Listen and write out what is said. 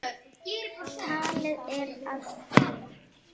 Talið er að um